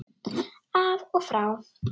Af og frá!